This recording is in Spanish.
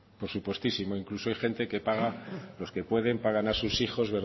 por supuestísimo incluso hay gente que paga los que pueden pagan para que sus hijos